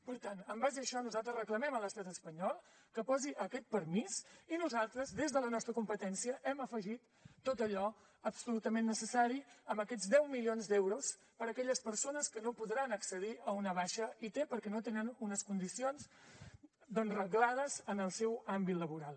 per tant en base a això nosaltres reclamem a l’estat espanyol que posi aquest permís i nosaltres des de la nostra competència hem afegit tot allò absolutament necessari amb aquests deu milions d’euros per a aquelles persones que no podran accedir a una baixa i perquè no tenen unes condicions doncs reglades en el seu àmbit laboral